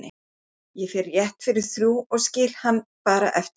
Ég fer rétt fyrir þrjú og skil hann bara eftir